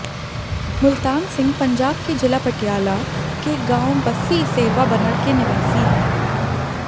मुल्तान सिंह पंजाब के जिला पटियाला के गांव बस्सी इसेरवां बनड़ के निवासी हैं